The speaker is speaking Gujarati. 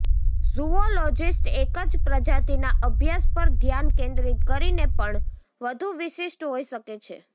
ઝૂઓલોજિસ્ટ્સ એક જ પ્રજાતિના અભ્યાસ પર ધ્યાન કેન્દ્રિત કરીને પણ વધુ વિશિષ્ટ હોઈ શકે છે